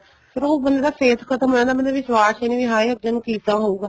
ਫ਼ੇਰ ਉਹ ਬੰਦੇ ਦਾ safe ਖ਼ਤਮ ਹੋ ਜਾਂਦਾ ਬੰਦੇ ਨੂੰ ਵਿਸ਼ਵਾਸ ਹੀ ਨਹੀਂ ਆਏ ਅੱਗੇ ਨੂੰ ਕਿਸ ਤਰ੍ਹਾਂ ਹਉਗਾ